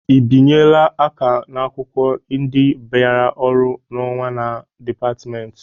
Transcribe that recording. Ị binyela aka n'akwụkwọ ndị bịara ọrụ n'ọnwa na dịpatmenti?